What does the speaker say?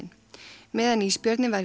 meðan ísbjörninn var við